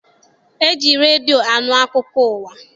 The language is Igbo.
E ji redio anụ akụkọ ụwa.